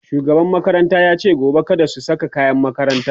shugaban makaranta yace gobe kada su Saka kayan makaranta